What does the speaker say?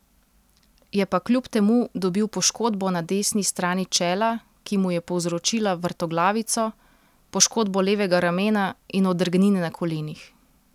Je pa kljub temu dobil poškodbo na desni strani čela, ki mu je povzročila vrtoglavico, poškodbo levega ramena in odrgnine na kolenih.